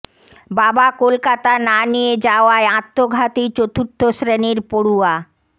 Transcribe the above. বাবা কলকাতা না নিয়ে যাওয়ায় আত্মঘাতী চতুর্থ শ্রেণির পড়ুয়া